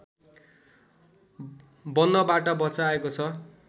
बन्नबाट बचाएको छ